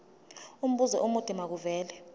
umbuzo omude makuvele